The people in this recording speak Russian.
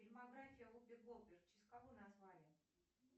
фильмография вупи голдберг в честь кого назвали